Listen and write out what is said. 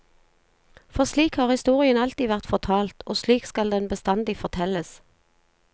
For slik har historien alltid vært fortalt, og slik skal den bestandig fortelles.